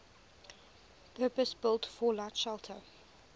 purpose built fallout shelter